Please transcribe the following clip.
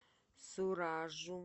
суражу